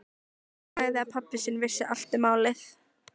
Hann sagði að pabbi sinn vissi allt um málið.